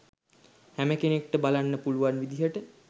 හැම කෙනෙක්ට බලන්න පුළුවන් විදියට